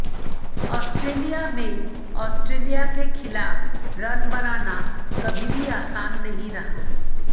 Australia में Australia के खिलाफ रन बनाना कभी भी आसान नहीं रहा